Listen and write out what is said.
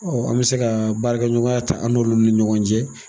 an bɛ se ka baarakɛɲɔgɔnya ta an'olu ni ɲɔgɔn cɛ.